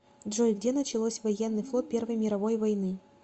джой где началось военный флот первой мировой войны